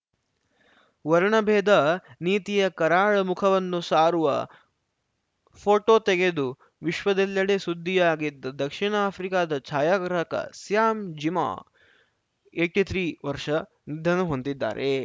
ವರ್ಣಭೇದ ನೀತಿಯ ಕರಾಳ ಮುಖವನ್ನು ಸಾರುವ ಫೋಟೋ ತೆಗೆದು ವಿಶ್ವದೆಲ್ಲೆಡೆ ಸುದ್ದಿಯಾಗಿದ್ದ ದಕ್ಷಿಣ ಆಫ್ರಿಕಾದ ಛಾಯಾಗ್ರಾಹಕ ಸ್ಯಾಮ್‌ ಜಿಮಾ ಎಯ್ಟಿ ಥ್ರೀ ವರ್ಷ ನಿಧನ ಹೊಂದಿದ್ದಾರೆ